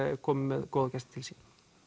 komin með góðan gest til sín